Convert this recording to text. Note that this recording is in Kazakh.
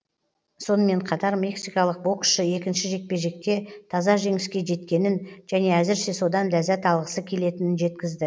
сонымен қатар мексикалық боксшы екінші жекпе жекте таза жеңіске жеткенін және әзірше содан ләззат алғысы келетінін жеткізді